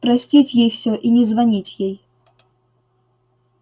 простить ей всё и не звонить ей